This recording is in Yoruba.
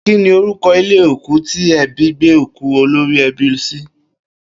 Kí ni orúko̩ ilé òkú tí e̩bí gbé òkú olorí e̩bí sí?